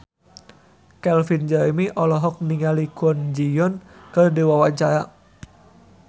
Calvin Jeremy olohok ningali Kwon Ji Yong keur diwawancara